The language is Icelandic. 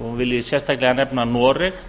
og vil ég sérstaklega nefna noreg